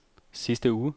sidste uge